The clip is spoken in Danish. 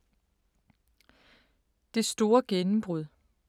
Det store gennembrud